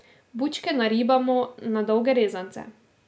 Bučke naribamo na dolge rezance.